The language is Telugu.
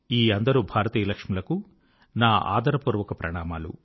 ఈ అందరు భారతీయ లక్ష్ములకు నా ఆదరపూర్వక ప్రణామములు